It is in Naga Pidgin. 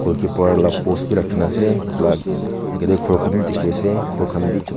par la post bhi rakhina ase etu la agae dae ghor khan bhi dekhe ase ghor khan bhi chu--